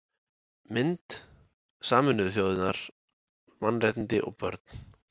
Mynd: Sameinuðu þjóðirnar: Mannréttindi og börn